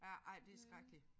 Ja ej det skrækkeligt